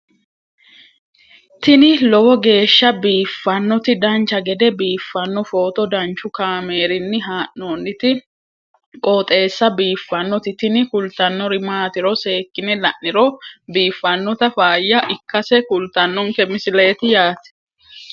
tini lowo geeshsha biiffannoti dancha gede biiffanno footo danchu kaameerinni haa'noonniti qooxeessa biiffannoti tini kultannori maatiro seekkine la'niro biiffannota faayya ikkase kultannoke misileeti yaate